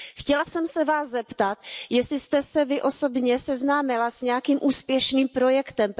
Chtěla jsem se Vás zeptat, jestli jste se Vy osobně seznámila s nějakým úspěšným projektem?